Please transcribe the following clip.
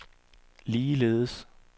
ligeledes